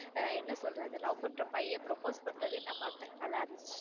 என்ன சொல்றது love பண்ற பையன் propose பண்றதையும் நான் பார்த்தேன் நல்லா இருந்துச்சு.